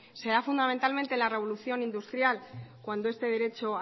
se da fundamentalmente en la revolución industrial cuando este derecho